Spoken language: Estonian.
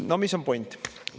No mis on point?